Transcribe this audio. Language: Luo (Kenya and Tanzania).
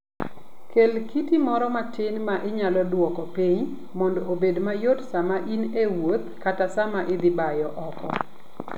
Kel kiti moro matin ma inyalo duoko piny mondo obed mayot sama in e wuoth kata sama idhi bayo oko.